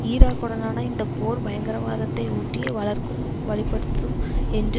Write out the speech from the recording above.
ஈராக்குடன்னான இந்த போர் பயங்கரவாதத்தை ஊட்டி வளர்க்கும் வலு படுத்தும் என்று